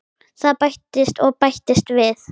Það bætist og bætist við.